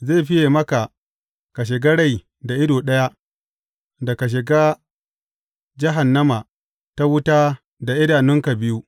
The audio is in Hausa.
Zai fiye maka ka shiga rai da ido ɗaya, da ka shiga jahannama ta wuta da idanunka biyu.